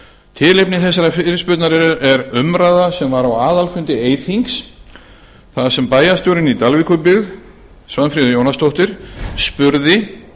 tilefni þessara fyrirspurnar er umræða sem var á aðalfundi eyþings þar sem bæjarstjórinn í dalvíkurbyggð svanfríður jónasdóttir spurði